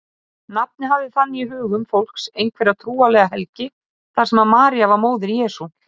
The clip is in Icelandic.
Nafnið hafði þannig í hugum fólks einhverja trúarlega helgi þar sem María var móðir Jesú.